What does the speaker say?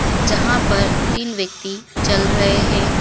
जहां पर तीन व्यक्ति चल रहे है।